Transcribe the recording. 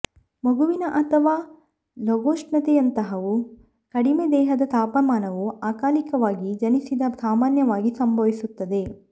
ಮಗುವಿನ ಅಥವಾ ಲಘೂಷ್ಣತೆಯಂಥವು ಕಡಿಮೆ ದೇಹದ ತಾಪಮಾನವು ಅಕಾಲಿಕವಾಗಿ ಜನಿಸಿದ ಸಾಮಾನ್ಯವಾಗಿ ಸಂಭವಿಸುತ್ತದೆ